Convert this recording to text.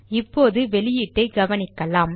இப்போது வெளியீட்டை கவனிக்கலாம்